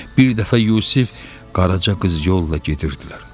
Bir dəfə Yusif Qaraca qız yolla gedirdilər.